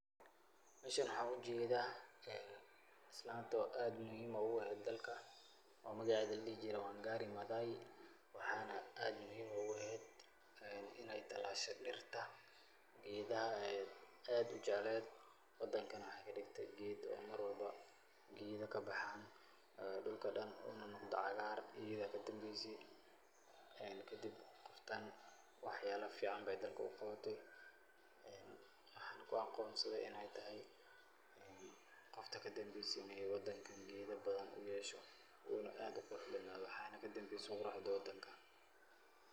Meshan waxaa ujeedaa islanto aad muhiim ugu eheed dalka, oo magaceeda la dhihi jiray Wangari Maathai. Waxayna aad muhiim ugu eheed inay talaashday dhirta, geedaha aad ujecleed, wadankana waxay ka dhigtay geed oo marwalba geedho kabahaan ee dulka dhan unanaqdo agaar iida kadembeysay. Kadib, qoftaan waxyaalo fiican bay dalka u qabatay. Waxayna ku aqoonsadey inay tahay qofta kadembeysay inay wadankan geedi badan u yeelato uuna aad uqurux badnaado, waxaana kadembeysay quruxda wadanka.